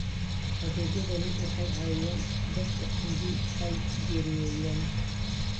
Adeegyadani waxay caawiyaan dadka haddii ay geeriyoodaan.